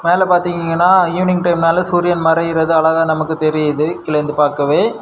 இதுல பாத்திங்கன evening time நாலு சூரியன் மறையுறது அழகா நமக்கு தெரியுது கீழ இருந்து பாக்கவே.